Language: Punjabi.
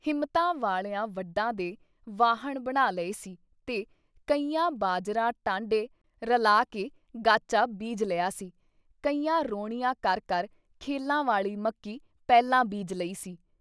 ਹਿੰਮਤਾਂ ਵਾਲਿਆਂ ਵੱਢਾਂ ਦੇ ਵਾਹਣ ਬਣਾ ਲਏ ਸੀ ਤੇ ਕਈਆਂ ਬਾਜਰਾ ਟਾਂਡੇ ਰਲਾ ਕੇ ਗਾਚਾ ਬੀਜ ਲਿਆ ਸੀ, ਕਈਆਂ ਰੌਣੀਆਂ ਕਰ ਕਰ ਖੇਲਾਂ ਵਾਲੀ ਮੱਕੀ ਪਹਿਲਾਂ ਬੀਜ ਲਈ ਸੀ।